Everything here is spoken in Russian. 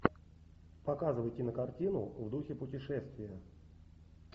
показывай кинокартину в духе путешествия